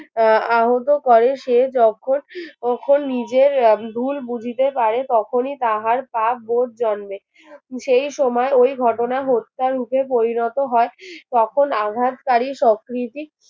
আহ আহত করে সে যখন তখন নিজের ভুল বুঝিতে পারে তখনই তাহার পা বোধ জন্মে সেই সময় ওই ঘটনা হত্যার রূপে পরিণত হয় তখন আঘাতকারি সক্রীতি